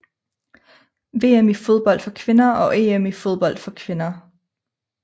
VM i fodbold for kvinder og EM i fodbold for kvinder